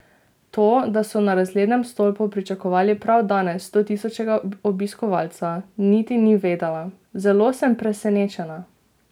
To, da so na razglednem stolpu pričakovali prav danes stotisočega obiskovalca, niti ni vedela: "Zelo sem presenečena.